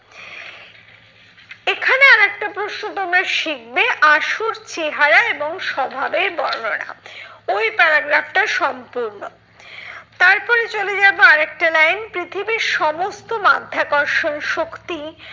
এখানে আর একটা প্রশ্ন তোমরা শিখবে, আসল চেহারা এবং স্বভাবের বর্ণনা। ওই paragraph টা সম্পূর্ণ। তারপরে চলে যাবো আর একটা line পৃথিবীর সমস্ত মাধ্যাকর্ষণ শক্তি